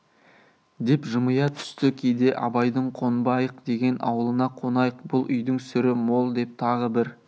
деп жымия түсті кейде абайдың қонбайық деген аулына қонайық бұл үйдің сүрі мол деп тағы бір